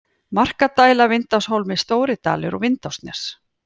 Markadæla, Vindáshólmi, stóridalur, Vindásnes